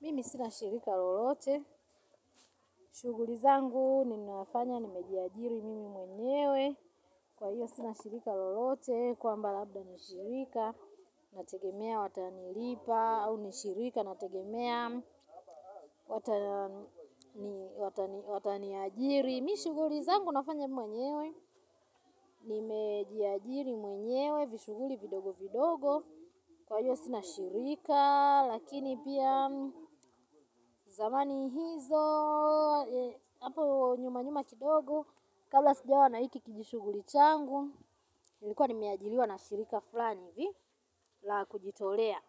Mimi sina shirika lolote, shugulizangu ninafanya nimejiajiri mimi mwenyewe. Kwa hiyo sina shirika lolote, kwamba labda nishirika. Nategemea watanilipa, au nishirika nategemea watani ajiri. Mi shuguli zangu nafanya mwenyewe, nimejiajiri mwenyewe, vishuguli vidogo vidogo. Kwa hiyo sinashirika, lakini pia zamani hizo, hapo nyuma nyuma kidogo, kabla sijawa naiki kijishuguli changu, nilikuwa nimeajiliwa na shirika flani ivi, la kujitolea.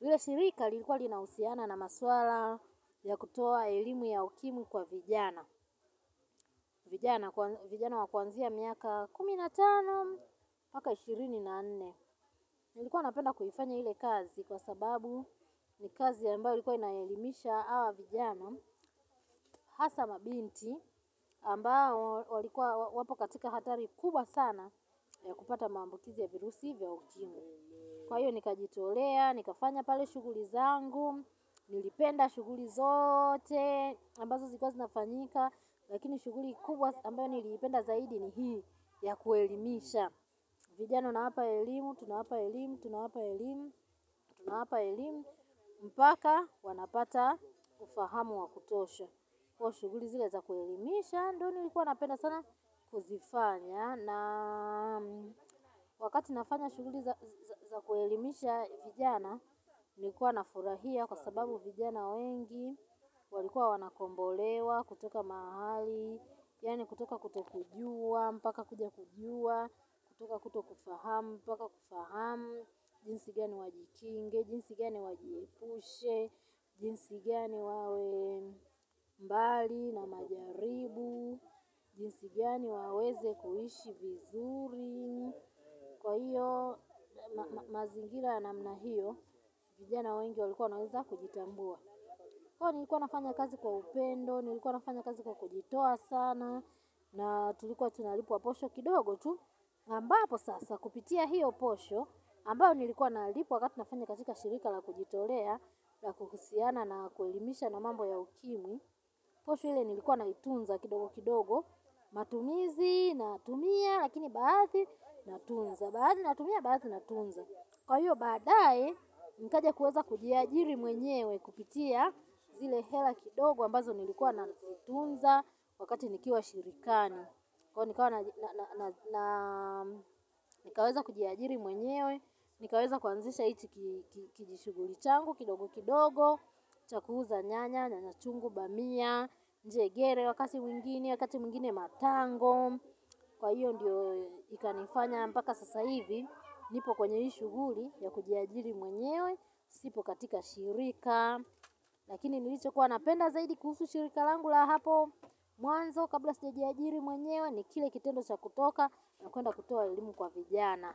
Hile shirika lilikuwa linausiana na maswala ya kutoa elimu ya ukimwi kwa vijana. Vijana wakwanzia miaka kuminatano, mpaka ishirini na nne. Nilikuwa napenda kuhifanya hile kazi kwa sababu ni kazi ambayo likuwa inayelimisha awa vijana hasa mabinti ambao wapokatika hatari kubwa sana ya kupata maambukizi ya virusi vya ukimwi. Kwa hiyo nikajitolea, nikafanya pale shuguli zangu, nilipenda shuguli zote ambazo zilkuwa zinafanyika. Lakini shuguli kubwa ambayo nilipenda zaidi ni hii ya kuelimisha vijana na hapa elimu, tuna hapa elimu, tuna hapa elimu, tuna hapa elimu. Mpaka wanapata ufahamu wa kutosha. Kwa shuguli zile za kuelimisha, ndo nilikuwa napenda sana kuzifanya na wakati nafanya shughuli za kuelimisha vijana nilikuwa nafurahia kwa sababu vijana wengi walikuwa wanakombolewa kutoka mahali yaani kutoka kutokujua mpaka kuja kujua, kutoka kutokufahamu mpaka kufahamu. Jinsi gani wajikinge, jinsi gani wajiepushe, jinsi gani wawe mbali na majaribu, jinsi gani waweze kuishi vizuri kwa hiyo mazingira ya namna hiyo, vijana wengi walikuwa wanaweza kujitambua kwa hiyo nilikuwa nafanya kazi kwa upendo, nilikuwa nafanya kazi kwa kujitoa sana na tulikuwa tunalipwa posho kidogo tu ambapo sasa kupitia hiyo posho ambayo nilikuwa nalipwa wakati nafanya katika shirika la kujitolea la kuhusiana na kuelimisha na mambo ya ukimwi posho ile nilikuwa naitunza kidogo kidogo matumizi natumia, lakini baadhi natunza baadhi natumia, baadhi natunza kwa hiyo baadaye, nikaja kuweza kujiajiri mwenyewe kupitia zile hela kidogo ambazo nilikuwa nazitunza wakati nikiwa shirikani kwa hiyo nikawa nikaweza kujiajiri mwenyewe nikaweza kuanzisha hiki kijishughuli changu kidogo kidogo cha kuuza nyanya, nyanya chungu, bamia, njegere wakati mwingine, wakati mwingine matango. Kwa hiyo ndiyo ikanifanya mpaka sasa hivi nipo kwenye hii shughuli ya kujiajiri mwenyewe sipo katika shirika lakini nilichokuwa napenda zaidi kuhusu shirika langu la hapo mwanzo kabla sijajiajiri mwenyewe ni kile kitendo cha kutoka na kwenda kutoa elimu kwa vijana.